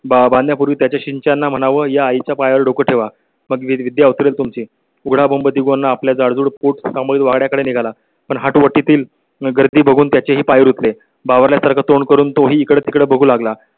धरण बांधण्या पूर्वी त्याच्या सिंचना म्हणाल्या, आई च्या पाया वर डोकं ठेवा, पण विद्यार्थी तुमची उघडा बघून आपल्या जाड पुठ्ठा मुळे वाड्या कडे निघाला. पण हातोटी तील गर्दी बघून त्याचे पाय रुतले बावरल्यासारखा तोंड करून तोही इकडे तिकडे बघू लागला.